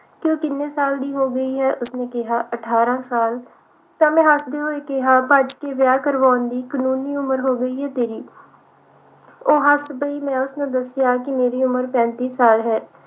ਕਿ ਉਹ ਕਿੰਨੇ ਸਾਲ ਦੀ ਹੋ ਗਈ ਹੈ ਉਸਨੇ ਕਿਹਾ ਅਠਾਰਾਂ ਸਾਲ ਤਾਂ ਮੈਂ ਹੱਸਦੇ ਹੋਏ ਕਿਹਾ ਭੱਜ ਕੇ ਵਿਆਹ ਕਰਾਉਣ ਦੀ ਕਾਨੂੰਨੀ ਉਮਰ ਹੋ ਗਈ ਹੈ ਤੇਰੀ ਉਹ ਹੱਸ ਪਈ ਮੈਂ ਉਸਨੂੰ ਦੱਸਿਆ ਮੇਰੀ ਉਮਰ ਪੈਂਤੀ ਸਾਲ ਹੈ